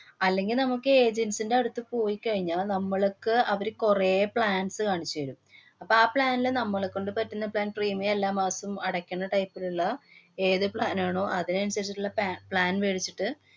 അല്ലെങ്കില്‍ നമുക്ക് agents ന്‍റടുത്ത് പോയിക്കഴിഞ്ഞാല്‍ നമ്മള്ക്ക് അവര് കൊറേ plans കാണിച്ചു തരും. അപ്പൊ ആ plan ല് നമ്മളെ കൊണ്ട് പറ്റുന്ന plan premium എല്ലാ മാസോം അടയ്ക്കണ type ലുള്ള ഏതു plan ആണോ അതിനനുസരിച്ചിട്ടുള്ള pa~ plan വേടിച്ചിട്ട്